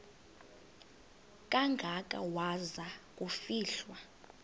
kangaka waza kufihlwa